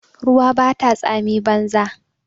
Ruwa bata tsami banza.